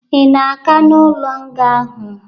Ị na-aga n'ụlo nga ahụ?